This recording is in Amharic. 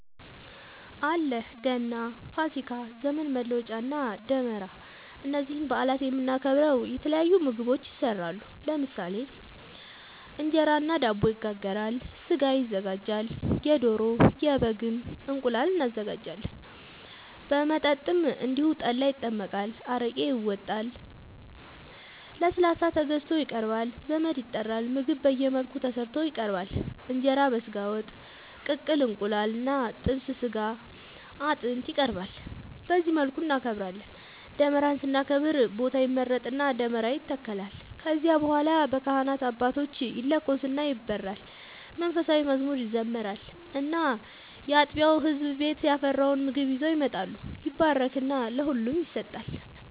አለ ገና፣ ፋሲካ፣ ዘመን መለወጫ እና ደመራ እነዚህን በአላት የምናከብረው የተለያዩ ምግቦች ይሰራሉ ለምሳሌ እንጀራ እና ዳቦ ይጋገራል፣ ስጋ ይዘጋጃል የዶሮ፣ የበግም፣ እንቁላል እናዘጋጃለን። መጠጥም እንደዚሁ ጠላ ይጠመቃል፣ አረቄ ይወጣል፣ ለስላሳ ተገዝቶ ይቀርባል ዘመድ ይጠራል ምግብ በየመልኩ ተሰርቶ ይቀርባል እንጀራ በስጋ ወጥ፣ በቅቅል እንቁላል እና ጥብስ ስጋ አጥንት ይቀርባል በዚህ መልኩ እናከብራለን። ደመራን ስናከብር ቦታ ይመረጥና ደመራ ይተከላል ከዚያ በኋላ በካህናት አባቶች ይለኮስና ይበራል መንፉሳዊ መዝሙር ይዘመራል እና ያጥቢያው ህዝብ ቤት ያፈራውን ምግብ ይዘው ይመጣሉ ይባረክና ለሁሉም ይሰጣል።